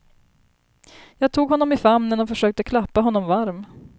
Jag tog honom i famnen och försökte klappa honom varm.